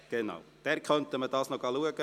Diese könnte man noch anschauen.